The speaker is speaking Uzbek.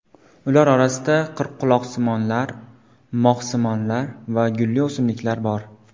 Ular orasida qirqquloqsimonlar, moxsimonlar va gulli o‘simliklar bor.